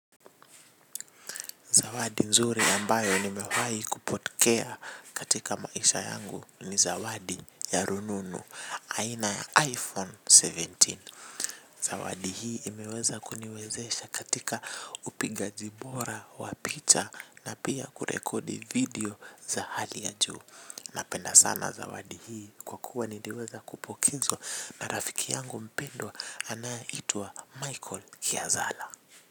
Zawadi nzuri ambayo nimewahi kupokea katika maisha yangu ni zawadi ya rununu aina iPhone kumi na saba. Zawadi hii imeweza kuniwezesha katika upigaji bora wa picha na pia kurekodi video za hali ya juu. Napenda sana zawadi hii kwa kuwa niliweza kupokezwa na rafiki yangu mpendwa anayeitwa Michael Kiazala.